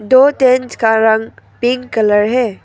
दो टेंट का रंग पिंक कलर है।